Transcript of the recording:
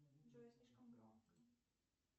джой слишком громко